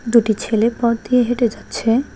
দুটি ছেলে পথ দিয়ে হেঁটে যাচ্ছে।